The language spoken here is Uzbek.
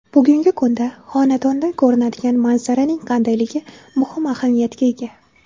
Bugungi kunda xonadondan ko‘rinadigan manzaraning qandayligi muhim ahamiyatga ega.